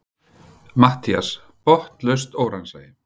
MATTHÍAS: Botnlaust óraunsæi!